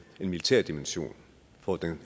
militær dimension for